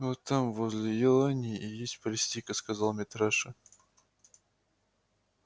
вот там возле елани и есть палестинка сказал митраша